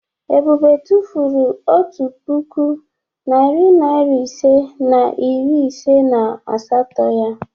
Ebube tụfuru otu puku, narị naịra ise na iri ise na asatọ ya.